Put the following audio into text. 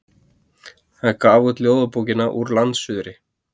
Hann gaf út ljóðabókina Úr landsuðri.